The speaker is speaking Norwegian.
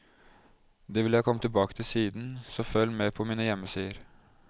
Det vil jeg komme tilbake til siden, så følg med på mine hjemmesider.